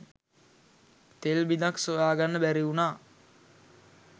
තෙල් බිඳක් සොයා ගන්න බැරි වුණා.